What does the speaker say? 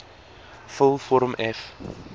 vul vorm f